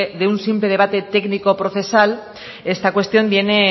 de un simple debate técnico procesal esta cuestión viene